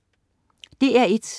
DR1: